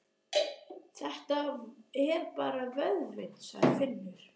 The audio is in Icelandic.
Þetta er bara vöðvinn, sagði Finnur.